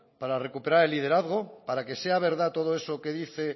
para recuperar el liderazgo para que sea verdad todo eso que dice